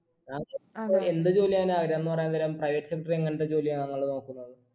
ഇപ്പൊ എന്ത് ജോലി ചെയ്യാനാണ് ആഗ്രഹം പറയാൻ നേരം private sector ൽ എങ്ങനത്തെ ജോലിയാ താങ്കൾ നോക്കുന്നത്